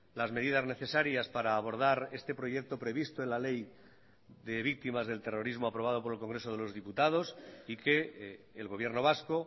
las medidas necesarias para abordar este proyecto previsto en la ley de víctimas del terrorismo aprobado por el congreso de los diputados y que el gobierno vasco